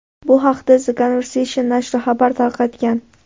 Bu haqda The Conversation nashri xabar tarqatgan .